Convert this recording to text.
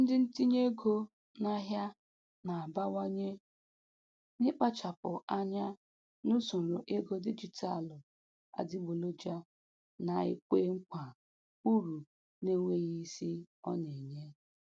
Ndị ntinye ego n'ahịa na-abawanye n'ịkpachapụ anya n'usoro ego dijitalụ adịgboloja na-ekwe nkwa uru na-enweghị isi ọ na-enye.